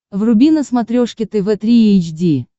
вруби на смотрешке тв три эйч ди